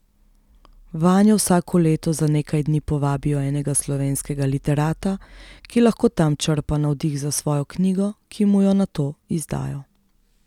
Vanjo vsako leto za nekaj dni povabijo enega slovenskega literata, ki lahko tam črpa navdih za svojo knjigo, ki mu jo nato izdajo.